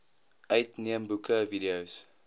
uitneem boeke videos